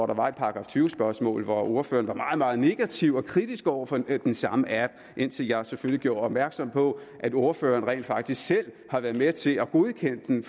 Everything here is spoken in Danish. der var et § tyve spørgsmål var ordføreren meget meget negativ og kritisk over for den samme app indtil jeg selvfølgelig gjorde opmærksom på at ordføreren rent faktisk selv har været med til at godkende den